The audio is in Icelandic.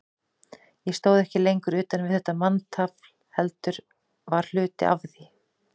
Ég stóð ekki lengur utan við þetta manntafl, heldur var hluti af því.